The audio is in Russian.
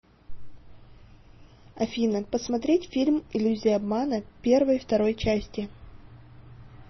афина посмотреть фильм иллюзия обмана первой второй части